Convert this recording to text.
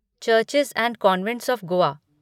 churches and convents of Goa